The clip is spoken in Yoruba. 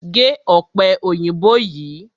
Gé ọ̀pẹ òyìnbó yìí!